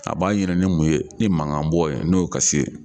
A b'a ɲini ni mun ye ni mankan bɔ ye n'o kasi ye.